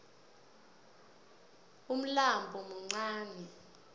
ulmlambo muncani